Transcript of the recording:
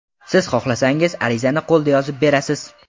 Siz xohlasangiz, arizani qo‘lda yozib berasiz.